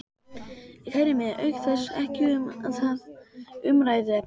Kæri mig auk þess ekki um það umræðuefni.